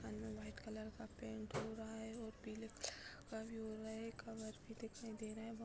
अंदर white colour का paint हो रहा है और पीले कलर का भी हो रहा है कवर भी दिखाई दे रहा है बोह --